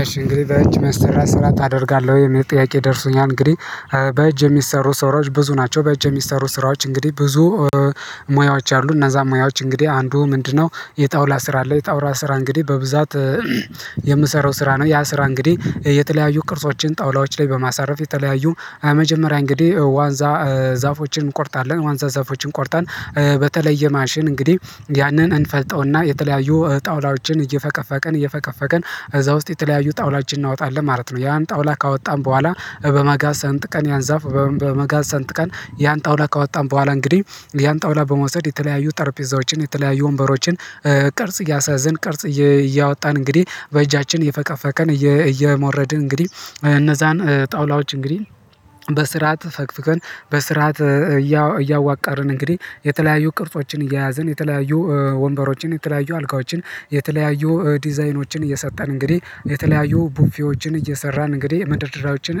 ኢሽ እንግዲህ በእጅ የሚሰራ ስራ ታደርጋለህ የሚል ጥያቄ ደርሶኛል። እንግዲህ በእጅ የሚሰሩ ስራዎች ብዙ ናቸው በእጅ የሚሰሩ ስራዎች እንግዲህ ብዙ ሙያዎች አሉ እና እነዛ ሙያዎች እንግዲህ አንዱ ምንድነው? የጣውላ ስራ አለ የጣውል ስራ እንግዲህ በብዛት የምሰራው ስራ ነው። ያ ስራ እንግዲህ የተለያዩ ቅርጾችን ጣውላዎች ላይ በማሳረፍ የተለያዩ የመጀመሪያ እንግዲህ ዋንዛ ዛፎችን እንቆርጣለን ዋንዛ ዛፎችን ቆርጠን በተለየ ማሽን እንግዲህ ያንን እንፈልጠውና የተለያዩ ጣውላዎችን እየፈቀፈቀን እየፈቀፈቀን እዛ ውስጥ የተለያዩ ጣውላችን እናወጣለን ማለት ነው። ያን ጣውላ ካወጣን በኋላ በመጋዝ ሰንጥ ቀን ያን ዛፍ በመጋዝ ሰንጥ ቀን ያን ጣውላ ከወጣን በኋላ እንግዲህ ያን ጣውላ በመውሰድ የተለያዩ ጠርጴዛዎችን የተለያዩ ወንበሮችን ቅርጽ እያስያዝን ቅርጽ እያወጣን እንግዲህ በእጃችን የፈቀፈቀን እየሞረድን እንግዲህ እነዛን ጣውላዎች እንግዲህ በስርዓት ፈቅፍቀንን በስርዓት እያዋቃርን እንግዲህ የተለያዩ ቅርጾችን እየያዝን የተለያዩ ወንበሮችን የተለያዩ አልጋዎችን የተለያዩ ዲዛይኖችን እየሰጠን እንግዲህ የተለያዩ ቡፌዎችን እየሰራን እንግዲህ መደርደሪያዎችን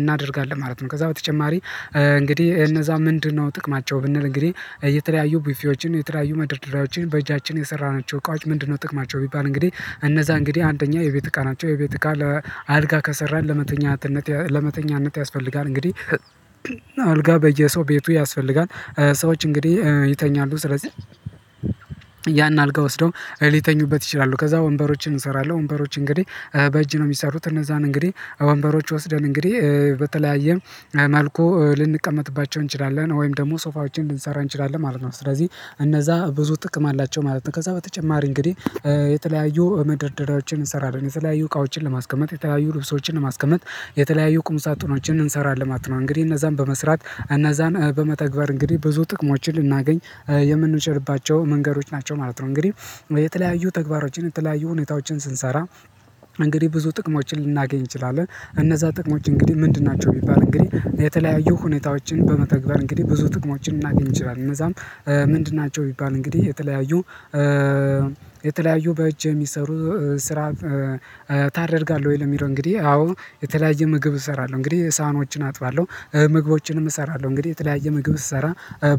እናደርጋለን ማለት ነው። ከዛ በተጨማሪ እንግዲህ እነዛ ምንድነው ጥቅማቸው ብንል እንግዲህ የተለያዩ ብፌዎችን የተለያዩ መደርደሪያዎችን በእጃችን የሰራናቸው እቃዎች ምንድነው ጥቅማቸው ቢባል እንግዲህ እነዛ እንግዲህ አንደኛ የቤት እቃ ናቸው የቤት እቃ ለአልጋ ከሰራን ለመተኛነት ለመተኛነት ያስፈልጋል እንግዲህ አልጋ በየሰው ቤቱ ያስፈልጋል። ሰዎች እንግዲህ ይተኛሉ ስለዚህ ያን አልጋ ወስደው ሊተኙበት ይችላሉ። ከዛ ወንበሮችን እሰራለሁ ወንበሮች እንግዲህ በእጅ ነው የሚሰሩት እነዛን እንግዲህ ወንበሮች ወስደን እንግዲህ በተለያየም መልኩ ልንቀመጥባቸው እንችላለን ወይም ደግሞ ሶፋዎችን ልንሰራ እንችላለን ማለት ነው። ስለዚህ እነዛ ብዙ ጥቅም አላቸው ማለት ነው። ከዛ በተጨማሪ እንግዲህ የተለያዩ መደርደሪያዎችን እንሰራለን የተለያዩ እቃዎችን ለማስቀመጥ የተለያዩ ልብሶችን ለማስቀመጥ የተለያዩ ቁም ሳጥኖችን እንሰራለን ማለት ነው። እንግዲህ እነዛን በመስራት እነዛን በመተግበር እንግዲህ ብዙ ጥቅሞችን ልናገኝ የምንችልባቸው መንገዶች ናቸው ማለት ነው። እንግዲህ የተለያዩ ተግባሮችን የተለያዩ ሁኔታዎችን ስንሰራ እንግዲህ ብዙ ጥቅሞችን ልናገኝ እንችላለን እነዛ ጥቅሞች እንግዲህ ምንድን ናቸው? የሚባል እንግዲህ የተለያዩ ሁኔታዎችን በመተግበር እንግዲህ ብዙ ጥቅሞችን እናገኝ ይችላል እነዛም ምንድን ናቸው? ቢባል እንግዲህ የተለያዩ የተለያዩ በእጅ የሚሰሩ ስራ ታደርጋለህ? ወይ ለሚለው እንግዲህ አዎ የተለያየ ምግብ እሰራለሁ እንግዲህ ሳህኖችን አጥባለሁ ምግቦችንም እሰራለሁ እንግዲህ የተለያየ ምግብ ስሰራ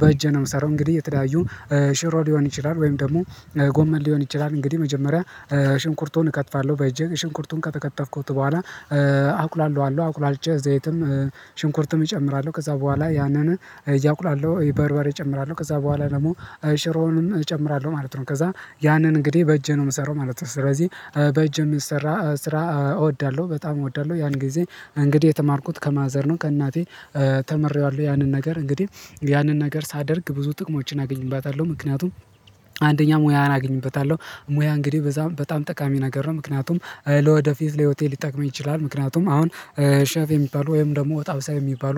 በእጄ ነው የምሰራው እንግዲህ የተለያዩ ሽሮ ሊሆን ይችላል ወይም ደግሞ ጎመን ሊሆን ይችላል እንግዲህ መጀመሪያ ሽንኩርቶን እከትፋለሁ በጄ ሽንኩርቱን ከተከተፍኩት በኋላ አቁላላለው አቁላልቼ ዘይትም ሽንኩርትም እጨምራለሁ ከዛ በኋላ ያንን እቁላለሁ በርበሬ እጨምራለሁ ከዛ በኋላ ደግሞ ሽሮውንም እጨምራለሁ ማለት ነው ከዛ ያንን እንግዲህ በእጄ ነው የምሰራው ማለት ነው። ስለዚህ በእጄ የምንሰራ ስራ እወዳለሁ በጣም እወዳለሁ ያን ጊዜ እንግዲህ የተማርኩት ከማዘር ነው ከእናቴ ተምሬዋለሁ ያንን ነገር እንግዲህ ያንን ነገር ሳደርግ ብዙ ጥቅሞችን አግኝበታለሁ ምክንያቱም አንደኛ ሙያ አግኝበታለሁ ሙያ እንግዲህ በጣም በጣም ጠቃሚ ነገር ነው። ምክንያቱም ለወደፊት ለህይወቴ ሊጠቅመኝ ይችላል ምክንያቱም አሁን ሼፍ የሚባሉ ወይም ደግሞ ወጥ አብሳይ የሚባሉ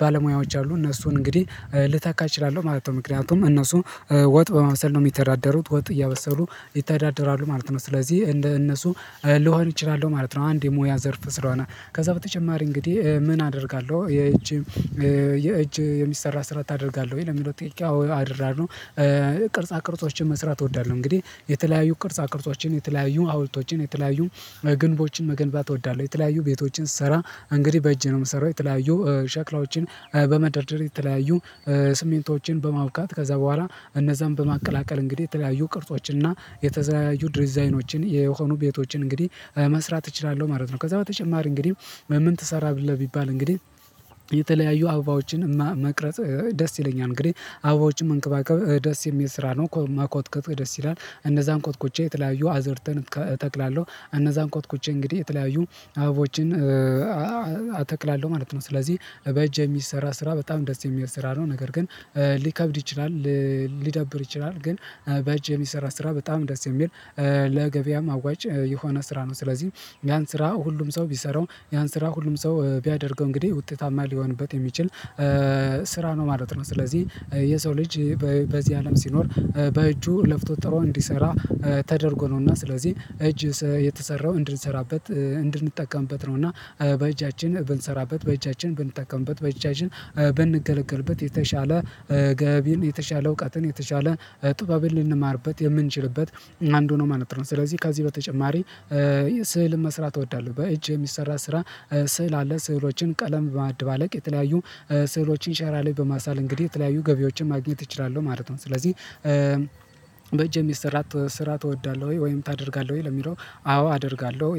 ባለሙያዎች አሉ እነሱን እንግዲህ ልተካ እችላለሁ ማለት ነው። ምክንያቱም እነሱ ወጥ በማብሰል ነው የሚተዳደሩት ወጥ እያበሰሉ ይታዳደራሉ ማለት ነው ስለዚህ እንደ እነሱ ልሆን እችላለሁ ማለት ነው። አንድ የሙያ ዘርፍ ስለሆነ ከዛ በተጨማሪ እንግዲህ ምን አደርጋለሁ የእጅ የእጅ የሚሰራ ስራ ታደርጋለህ? ወይ ለሚለው ጥያቄው አዎ አደርጋለው ቅርጻ ቅርጾችን መስራት እወዳለሁ። እንግዲህ የተለያዩ ቅርጻ ቅርጾችን የተለያዩ ሃውልቶችን የተለያዩ ግንቦችን መገንባት እወዳለሁ የተለያዩ ቤቶችን ስሰራ እንግዲህ በእጄ ነው የምሰራው የተለያዩ ሸክላዎችን በመደርደር የተለያዩ ስሚንቶችን በማቡካት ከዛ በኋላ እነዛን በማቀላቀል እንግዲህ የተለያዩ ቅርጾችን እና የተለያዩ ዲዛይኖችን የሆኑ ቤቶችን እንግዲህ መስራት እችላለሁ ማለት ነው። ከዛ በተጨማሪ እንግዲህ ምን ትሰራለህ ቢባል? እንግዲህ የተለያዩ አበባዎችን መቅረጽ ደስ ይለኛል እንግዲህ አባዎችም መንከባከብ ደስ የሚል ስራ ነው መኮትኮት ደስ ይላል እነዛን ኮትኩቼ የተለያዩ አዘርእትን እተክላለው እነዛን ኮትኩቼ እንግዲህ የተለያዩ አበቦችን አተክላለሁ ማለት ነው። ስለዚህ በእጅ የሚሰራ ስራ በጣም ደስ የሚል ስራ ነው። ነገር ግን ሊከብድ ይችላል ሊደብር ሊዳብር ይችላል ግን በእጅ የሚሰራ ስራ በጣም ደስ የሚል ለገበያም አዋጭ የሆነ ስራ ነው። ስለዚህ ያን ስራ ሁሉም ሰው ቢሰራው ያን ስራ ሁሉም ሰው ቢያደርገው እንግዲህ ውጤታማ ሊሆንበት የሚችል ስራ ነው ማለት ነው። ስለዚህ የሰው ልጅ በዚህ አለም ሲኖር በእጁ ለፍቶ ጥሮ እንዲሰራ ተደርጎ ነውና ስለዚህ እጅ የተሰራው እንድንሰራበት እንድንጠቀምበት ነው እና በእጃችን ብንሰራበት በእጃችን ብንጠቀምበት በእጃችን ብንገለገልበት የተሻለ ገቢን የተሻለ እውቀትን የተሻለ ጥበብን ልንማርበት የምንችልበት አንዱ ነው ማለት ነው። ስለዚህ ከዚህ በተጨማሪ ስዕልን መስራት እወዳለሁ በእጅ የሚሰራ ስራ ስዕል አለ ስዕሎችን ቀለም በማድባለቅ የተለያዩ ስዕሎችን ሸራ ላይ በማሳል እንግዲህ የተለያዩ ገቢዎችን ማግኘት እችላለሁ ማለት ነው። ስለዚህ በእጄ የሚሰራ ስራ ትወዳለህ ወይም ታደርጋለህ ወይ ለሚለው? አዎ አደርጋለሁ